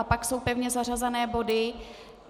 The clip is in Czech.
A pak jsou pevně zařazené body.